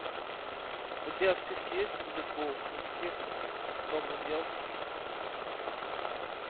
у тебя в списке есть дэдпул никаких добрых дел